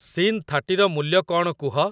Scene ଥାର୍ଟିର ମୂଲ୍ୟ କ'ଣ କୁହ ?